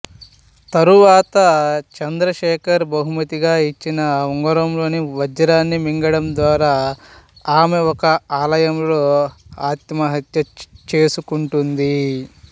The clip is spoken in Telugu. తరువాత చంద్రశేఖర్ బహుమతిగా ఇచ్చిన ఉంగరంలోని వజ్రాన్ని మింగడం ద్వారా ఆమె ఒక ఆలయంలో ఆత్మహత్య చేసుకుంటుంది